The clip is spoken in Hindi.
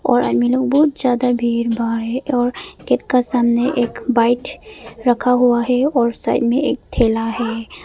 और आदमी लोग बहुत ज्यादा भीड़ भाड़ है और गेट का सामने एक बाइट रखा हुआ है और साइड में एक ठेला है।